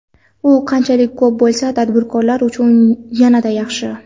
U qanchalik ko‘p bo‘lsa, tadbirkor uchun yanada yaxshi.